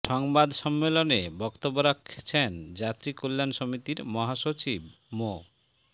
সংবাদ সম্মেলনে বক্তব্য রাখছেন যাত্রী কল্যাণ সমিতির মহাসচিব মো